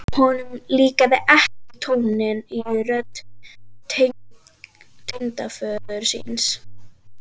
Honum líkaði ekki tónninn í rödd tengdaföður síns.